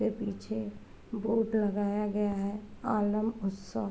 पीछे बोर्ड लगाया गया है आलब उत्सव।